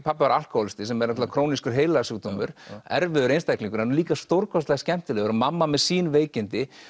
pabbi var alkóhólisti sem er náttúrulega krónískur heilasjúkdómur erfiður einstaklingur en líka stórkostlega skemmtilegur og mamma með sín veikindi